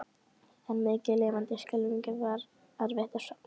En mikið lifandis skelfing var erfitt að sofna.